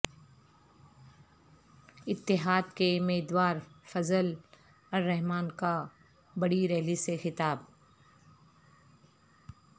اتحاد کےمیدوار فضل الرحمان کا بڑی ریلی سے خطاب